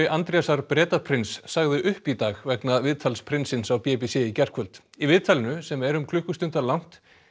Andrésar Bretaprins sagði upp í dag vegna viðtals prinsins á b b c í gærkvöld í viðtalinu sem er um klukkustundar langt